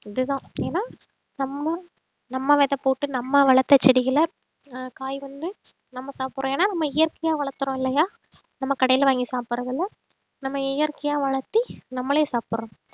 இதுதான் ஏன்னா நம்ம நம்ம விதை போட்டு நம்ம வளர்த்த செடிகளை ஆஹ் காய் வந்து நம்ம சாப்பிடுறோம் ஏன்னா நம்ம இயற்கையா வளர்த்துறோம் இல்லையா நம்ம கடையில வாங்கி சாப்பிடுறது இல்லை நம்ம இயற்கையா வளர்த்தி நம்மளே சாப்பிடுறோம்